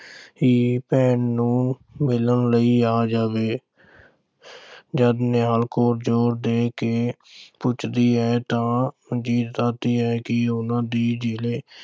ਵੀਰ, ਭੈਣ ਨੂੰ ਮਿਲਣ ਲਈ ਆ ਜਾਵੇ। ਜਦ ਨਿਹਾਲ ਕੌਰ ਜ਼ੋਰ ਦੇ ਕੇ ਪੁੱਛਦੀ ਹੈ ਤਾਂ ਮਨਜੀਤ ਦੱਸਦੀ ਹੈ ਕਿ ਉਨ੍ਹਾਂ ਦੀ ਜ਼ਿਲ੍ਹੇ